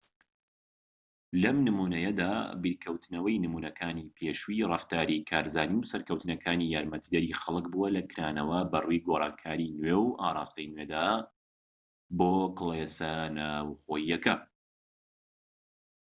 لەم نمونەیەدا بیرکەوتنەوەی نمونەکانی پێشووی ڕەفتاری کارزانی و سەرکەوتنەکانی یارمەتیدەری خەلک بووە لە کرانەوە بەڕووی گۆڕانکاریی نوێ و ئاڕاستەی نوێدا بۆ کلێسە ناوخۆییەکە